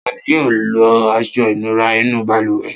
Ta ni yóò lo aṣọ-ìnura inú balùwẹ̀?